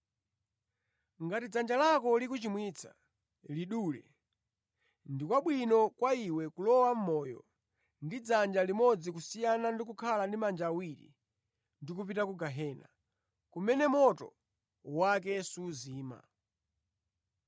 Ngati dzanja lako likuchimwitsa, lidule. Ndi kwabwino kwa iwe kulowa mʼmoyo ndi dzanja limodzi kusiyana ndi kukhala ndi manja awiri ndi kupita ku gehena, kumene moto wake suzima.